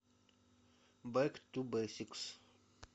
бэк ту бэсикс